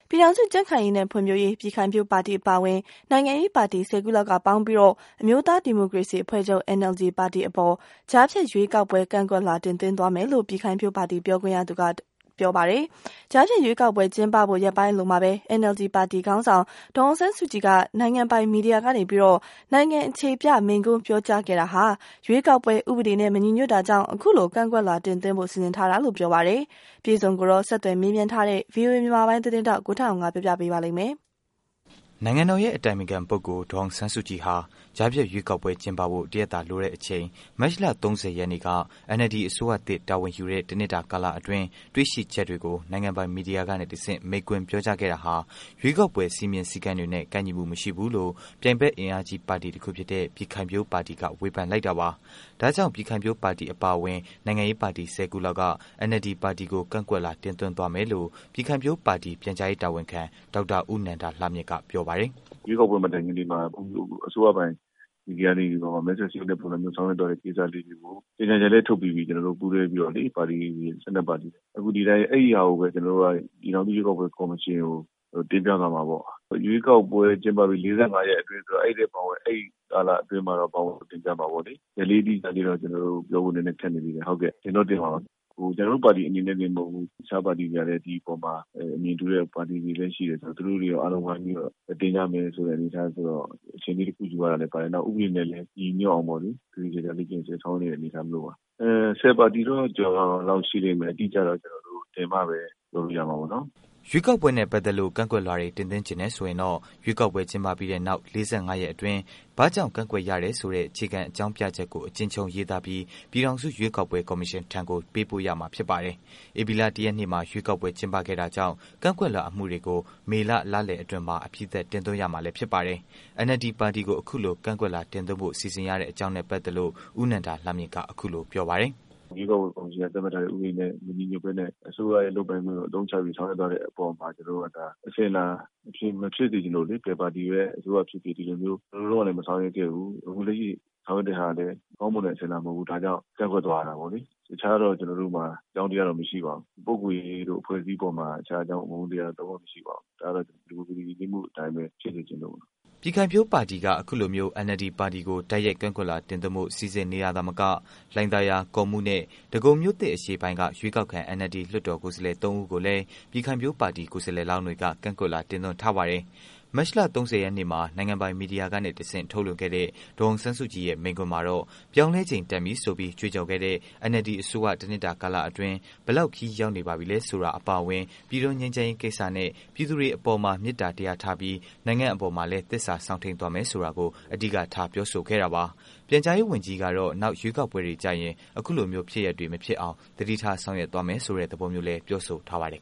ပြည်ထောင်စု ကြံခိုင်ရေးနဲ့ဖွံ့ဖြိုးရေး ပြည်ခိုင်ဖြိုးပါတီအပါအဝင် နိုင်ငံရေး ပါတီ ၁၀ ခုလောက် ပေါင်းပြီး အမျိုးသားဒီမိုကရေစီ အဖွဲ့ချုပ် NLD ပါတီအပေါ် ကြားဖြတ်ရွေးကောက်ပွဲ ကန့်ကွက်လွှာ တင်သွင်းသွားမယ်လို့ ပြည်ခိုင်ဖြိုးပါတီ ပြောရေးဆိုခွင့်ရှိသူ တစ်ဦးက ပြောလိုက်ပါတယ်။ ကြားဖြတ်ရွေးကောက်ပွဲကျင်းပဖို့ ရက်ပိုင်းအလိုမှာပဲ NLD ပါတီခေါင်းဆောင် ဒေါ်အောင်ဆန်း စုကြည်က နိုင်ငံပိုင်မီဒီယာကနေ နိုင်ငံအခြေပြမိန့်ခွန်းပြောကြားခဲ့တာဟာ ရွေးကောက်ပွဲ ဥပဒေနဲ့ မညီညွတ်တာကြောင့် အခုလို ကန့်ကွက်လွှာ တင်သွင်းဖို့ စီစဉ်တာလို့ဆိုပါတယ်။ အပြည့်အစုံကိုတော့ ဆက်သွယ်မေးမြန်းထားတဲ့ ဗွီအိုအေမြန်မာပိုင်း သတင်း ထောက် ကိုထက်အောင်က တင်ပြပေးမှာပါ။ နိုင်ငံတော်ရဲ့အတိုင်ပင်ခံ ပုဂ္ဂိုလ် ဒေါ်အောင်ဆန်းစုကြည်ဟာ ကြားဖြတ်ရွေးကောက်ပွဲ ကျင်းပဖို့ တစ်ရက်သာလိုတဲ့အချိန် မတ်လ ၃၀ ရက်နေ့က NLD အစိုးရသစ် တာဝန်ယူတဲ့ တစ်နှစ်တာ ကာလအတွင်း တွေ့ရှိချက်တွေကို နိုင်ငံပိုင် မီဒီယာကနေတစ်ဆင့် မိန့်ခွန်းပြောကြားခဲ့တာဟာ ရွေးကောက်ပွဲ စည်းမျဉ်းစည်းကမ်းတွေနဲ့ ကိုက်ညီမှု မရှိဘူးလို့ ပြိုက်ဖက် အင်အားကြီးပါတီတစ်ခုဖြစ်တဲ့ ပြည်ခိုင်ဖြိုးပါတီက ဝေဖန်လိုက်တာပါ။ ဒါကြောင့် ပြည်ခိုင်ဖြိုးပါတီအပါအဝင် နိုင်ငံရေး ပါတီ ၁၀ ခုလောက်က NLD ပါတီကို ကန့်ကွက်လွှာ တင်သွင်းသွားမယ်လို့ ပြည်ခိုင်ဖြိုးပါတီ ပြန်ကြားရေး တာဝန်ခံ ဒေါက်တာ ဦးနန္ဒာလှမြင့်က ပြောပါတယ်။ "ရွေးကောက်ပွဲမတိုင်ခင်နေ့မှာ အစိုးရပိုင်သတင်းမီဒီယာတွေကနေ မဲဆွယ်စည်းရုံးတဲ့ပုံစံမျိုး ဆောင်ရွက်သွားတဲ့ကိစ္စကို ကြေညာချက်လည်း ထုတ်ပြီးပြီ ကျနော်တို့ပူးတွဲပြီးတော့လေ ပါတီ ၁၂ပါတီ။ အခုအဲ့ဒီ့ဟာကိုပဲ ပြည်ထောင်စုရွေးကောက်ပွဲကော်မရှင်ကို တင်ပြသွားမှာပေါ့။ ရွေးကောက်ပွဲကျင်းပပြီး ၄၅ရက်အတွင်းဆိုတော့ အဲ့ဒီ့ကာလအတွင်းမှာ ဘောင်ဝင်အောင် တင်ပြမှာပေါ့လေ။ ရက်အတိအကျတော့ ကျနော်တို့ ပြောဖို့ခက်နေသေးတယ်။ တင်တော့တင်မှာပါ ကျနေ်ာတို့ပါတီအနေနဲ့တင်မဟုတ်ဘူး တခြားပါတီတွေကလည်း ဒီအပေါ်မှာ အမြင်တူတဲ့ပါတီတွေလည်း ရှိတော့ သူတို့တွေလည်း အားလုံးဝိုင်းပြီးတော့ တင်ကြမယ်ဆိုတော့ အချိန်တခုယူရတာလည်းပါတယ်။ နောက်တခုက ဥပဒေနဲ့လည်း ညီညွတ်အောင် သေသေချာချာ ပြင်ဆင်ဆောင်ရွက်နေတဲ့အနေအထားပါ။ ၁၀ပါတီတော့ ရှိတယ်။ တင်မှပဲ အတိအကျပြောလို့ရမှာပါ။ " ရွေးကောက်ပွဲနဲ့ ပတ်သတ်လို့ ကန့်ကွက်လွှာတွေ တင်သွင်းချင်တယ်ဆိုရင်တော့ ရွေးကောက်ပွဲ ကျင်းပပြီးတဲ့နောက် ၄၅ ရက်အတွင်း ဘာကြောင့် ကန့်ကွက်ရတဲ့ဆိုတဲ့ အခြေခံ အကြောင်းပြချက်ကို အကျဉ်းချုံးရေးသားပြီး ပြည်ထောင်စု ရွေးကောက်ပွဲကော်မရှင်ထံကို ပေးပို့ရမှာဖြစ်ပါတယ်။ ဧပြီလ ၁ ရက်နေ့မှာ ရွေးကောက်ပွဲ ကျင်းပခဲ့တာကြောင့် ကန့်ကွက်လွှာအမှုတွေကို မေလ လလယ်အတွင်းမှာ အပြီးသတ် တင်သွင်းရမှာဖြစ်ပါတယ်။ NLD ပါတီကို အခုလို ကန့်ကွက်လွှာ တင်သွင်းဖို့ စီစဉ်ရတဲ့ အကြောင်းနဲ့ ပတ်သက်လို့ ဦးနန္ဒာလှမြင့်က အခုလို ပြောပါတယ်။ "ရွေးကောက်ပွဲကော်မရှင်က သတ်မှတ်ထားတဲ့ ဥပဒေနဲ့မညီညွတ်ပဲနဲ့ အစိုးရရဲ့ လုပ်ပိုင်ခွင့်ကို အသုံးချပြီး ဆောင်ရွက်သွားတဲ့အပေါ်မှာ ကျနော်တို့က အစဉ်အလာ မဖြစ်စေချင်လို့လေ ဘယ်ပါတီပဲ အစိုးရဖြစ်ဖြစ် ဒီလိုမျိုး။ ဟိုတုန်းကလည်း မဆောင်ရွက်ခဲ့ဘူး။ အခုလက်ရှိဟာကလည်း ကောင်းမွန်တဲ့အစဉ်အလာမဟုတ်ဘူး။ ဒါကြောင့်ကန့်ကွက်သွားရတာပေါ့လေ။ တခြားတော့ အကြောင်းတရားတော့ မရှိပါဘူး။ လူပုဂ္ဂိုလ် အဖွဲ့အစည်းအပေါ် တခြားအကြောင်းကြောင့် အမုန်းတရား လုံးဝ မရှိပါဘူး။ ဒါကတော့ ဒီမိုကရေစီယဉ်ကျေးမှုအတိုင်းပဲ ဖြစ်စေချင်လို့ပါ။" ပြည်ခိုင်ဖြိုးပါတီဟာ အခုလိုမျိုး NLD ပါတီကို တိုက်ရိုက် ကန့်ကွက်လွှာ တင်သွင်းဖို့ စီစဉ်နေတာသာမက လှိုင်သာယာ၊ ကော့မှုးနဲ့ ဒဂုံမြို့သစ်အရှေ့ပိုင်းက ရွေးကောက်ခံ NLD လွှတ်တော်ကိုယ်စားလှယ် ၃ ဦးကိုလည်း ပြည်ခိုင်ဖြိုးပါတီ ကိုယ်စားလှယ်လောင်းတွေက ကန့်ကွက်လွှာ တင်သွင်းထားပါတယ်။ မတ်လ ၃၀ ရက်နေ့မှာ နိုင်ငံပိုင် မီဒီယာကနေ ထုတ်လွှင့်ခဲ့တဲ့ ဒေါ်အောင်ဆန်းစုကြည်ရဲ့ မိန့်ခွန်းမှာတော့ ပြောင်းလဲချိန် တန်ပြီဆိုပြီး ကြွေးကြော်ခဲ့တဲ့ NLD အစိုးရ တစ်နှစ်တာ ကာလအတွင်း ဘယ်လောက် ခရီးရောက်နေပါပြီလဲဆိုတာ အပါအဝင် ငြိမ်းချမ်းရေး ကိစ္စနဲ့ ပြည်သူတွေအပေါ်မှာ မေတ္တာ တရားထားပြီး နိုင်ငံအပေါ်မှာ သစ္စာ စောင့်ထိန်းသွားမယ် ဆိုတာကို အဓိကထားပြောဆိုခဲ့တာပါ။ ပြန်ကြားရေးဝန်ကြီးကတော့ နောက် ရွေးကောက်ပွဲတွေကျရင် အခုလိုမျိုး ဖြစ်ရပ်တွေ မဖြစ်အောင် သတိထား ဆောင်ရွက်သွားမယ်ဆိုတဲ့သဘောမျိုး ပြောထားပါတယ်